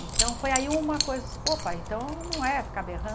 Então, foi aí uma coisa... Pô, pai, então não é ficar berrando?